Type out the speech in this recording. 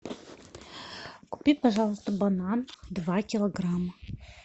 купи пожалуйста банан два килограмма